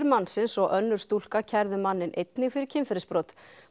mannsins og önnur stúlka kærðu manninn einnig fyrir kynferðisbrot